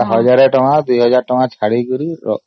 ୫୦୦୧୦୦୦ ଟଙ୍କା ଛାଡିଦେଇଛି account ରେ